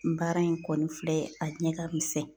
Baara in kɔni filɛ a ɲɛ ka misɛn